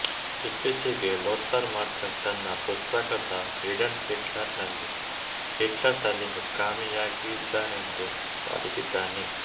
ಇತ್ತೀಚೆಗೆ Lothar Machtan ತನ್ನ ಪುಸ್ತಕ ದ ಹಿಡನ್ ಹಿಟ್ಲರ್ ನಲ್ಲಿ ಹಿಟ್ಲರ್ ಸಲಿಂಗಕಾಮಿಯಾಗಿದ್ದನೆಂದು ವಾದಿಸಿದ್ದಾನೆ